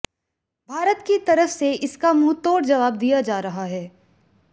भारत की तरफ से इसका मुंहतोड़ जवाब दिया जा रहा है